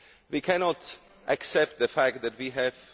We cannot accept the fact that we have